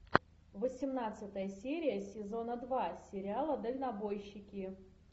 восемнадцатая серия сезона два сериала дальнобойщики